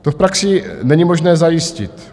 To v praxi není možné zajistit.